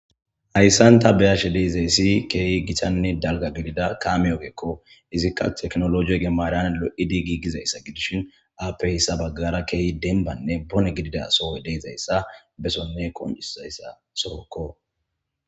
Haysan ta be7ashe de7izaysi keehi gitanne dalga gidida caame ogeko izika tekinolojegi maran lo7idi gigizaysa gidishin aappe hesa bagara keehi dembbanne bone giddida soy de7izaysa besonne qoncisizaysa sohoko.